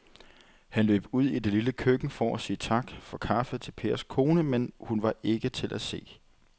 Han løb ud i det lille køkken for at sige tak for kaffe til Pers kone, men hun var ikke til at se.